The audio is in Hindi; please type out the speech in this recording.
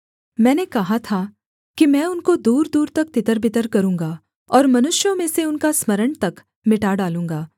मैंने कहा था कि मैं उनको दूरदूर तक तितरबितर करूँगा और मनुष्यों में से उनका स्मरण तक मिटा डालूँगा